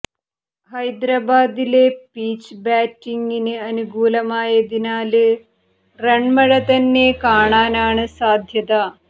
ഹൈദരാബാദിലെ പിച്ച് ബാറ്റിങിന് അനുകൂലമായതിനാല് റണ്മഴ തന്നെ കാണാനാണ് സാധ്യത